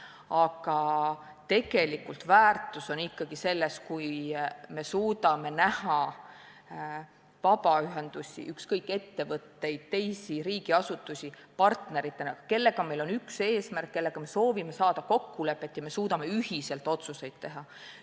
Aga tegelik väärtus on ikkagi selles, kui me suudame näha vabaühendusi, ettevõtteid, teisi riigiasutusi partneritena, kellega meil on üks eesmärk ning kellega me soovime jõuda kokkuleppeni ja suudame ühiselt otsuseid teha.